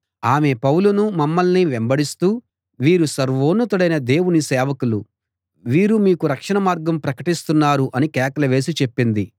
ఆమె పౌలునూ మమ్మల్ని వెంబడిస్తూ వీరు సర్వోన్నతుడైన దేవుని సేవకులు వీరు మీకు రక్షణమార్గం ప్రకటిస్తున్నారు అని కేకలు వేసి చెప్పింది